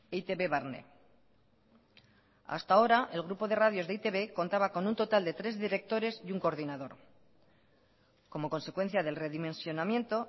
eitb barne hasta ahora el grupo de radios de e i te be contaba con un total de tres directores y un coordinador como consecuencia del redimensionamiento